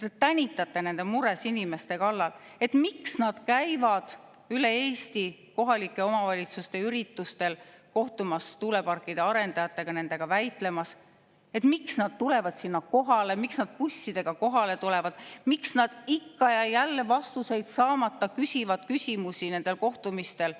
Te tänitate nende mures inimeste kallal, et miks nad käivad üle Eesti kohalike omavalitsuste üritustel kohtumas tuuleparkide arendajatega, nendega väitlemas, miks nad bussidega sinna kohale lähevad, miks nad nendel kohtumistel vastuseid saamata ikka ja jälle küsimusi küsivad.